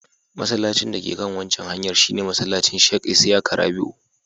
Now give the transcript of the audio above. Masallacin dake kan waccan hanyar shi ne masallacin Sheikh Isyaka Rabi'u.